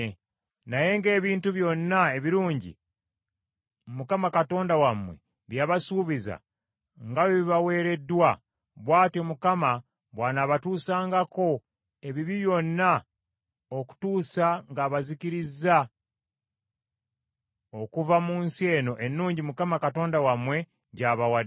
Naye ng’ebintu byonna ebirungi Mukama Katonda wammwe bye yabasuubiza nga bwe bibaweereddwa, bw’atyo Mukama Katonda wammwe bw’anaabatuusangako, ebibi byonna okutuusa ng’abazikirizza okuva mu nsi eno ennungi gy’abawadde.